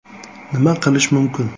Nima qilish mumkin?